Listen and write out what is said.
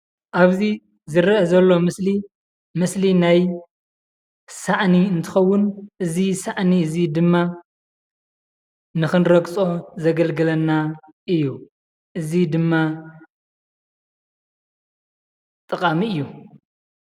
አብዚ ዝሪአ ዘሎ ምስሊ ምስሊ ናይ ሳእኒ እንትኸውን እዚ ሳእኒ እዚ ድማ ንኽንረግፆ ዘገልግለና እዩ። እዙይ ድማ ጠቃሚ እዩ።